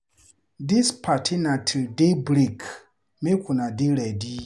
Dis party na till day break, make una dey ready.